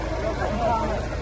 Çox sağ ol, qardaşım.